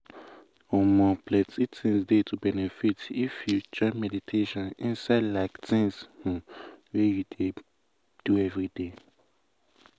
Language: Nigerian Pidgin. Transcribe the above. plenty um things dey to benefit if um you join meditation inside like tins um wey you dey do everyday.